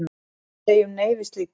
Við segjum nei við slíku.